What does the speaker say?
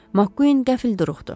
Makkuin qəfil duruxdu.